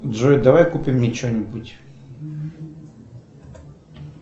джой давай купим мне че нибудь